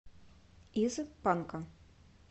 из панка